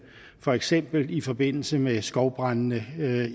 for eksempel i forbindelse med skovbrandene